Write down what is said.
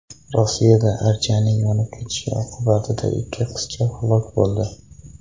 Rossiyada archaning yonib ketishi oqibatida ikki qizcha halok bo‘ldi.